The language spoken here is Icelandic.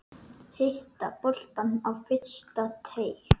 Hitta boltann á fyrsta teig.